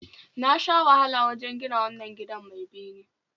Na sha wahala wajen gina wannan gidan mai bene